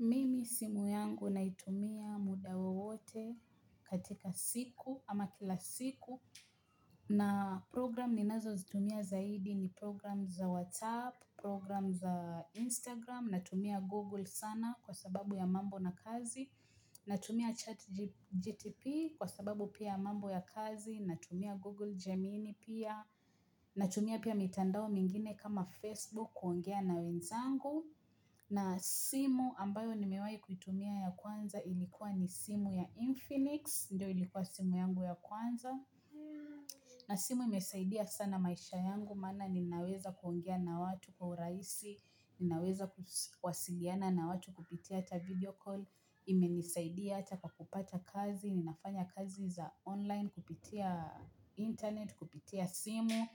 Mimi simu yangu naitumia muda wowote katika siku ama kila siku. Na program ninazozitumia zaidi ni program za WhatsApp, program za Instagram, natumia Google sana kwa sababu ya mambo na kazi. Natumia chat GTP kwa sababu pia mambo ya kazi, natumia Google Gemini pia, natumia pia mitandao mingine kama Facebook kuongea na wenzangu. Na simu ambayo nimewahi kuitumia ya kwanza ilikuwa ni simu ya Infinix. Ndiyo ilikuwa simu yangu ya kwanza. Na simu imesaidia sana maisha yangu. Maana ninaweza kuongea na watu kwa urahisi. Ninaweza kuwasiliana na watu kupitia hata video call. Imenisaidia ata kwa kupata kazi. Ninafanya kazi za online kupitia internet, kupitia simu.